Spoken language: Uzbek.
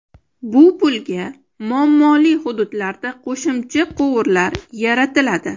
Bu pulga muammoli hududlarda qo‘shimcha quvurlar yaratiladi.